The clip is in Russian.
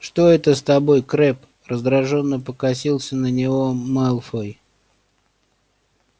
что это с тобой крэбб раздражённо покосился на него малфой